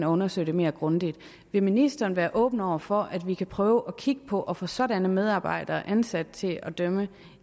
undersøge det mere grundigt vil ministeren være åben over for at vi kan prøve at kigge på at få sådanne medarbejdere ansat til at dømme